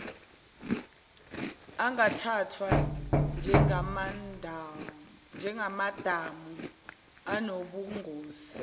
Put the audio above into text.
angathathwa njengamadamu anobungozi